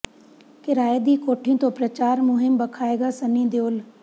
ਕਿਰਾਏ ਦੀ ਕੋਠੀ ਤੋਂ ਪ੍ਰਚਾਰ ਮੁਹਿੰਮ ਭਖਾਏਗਾ ਸਨੀ ਦਿਓਲ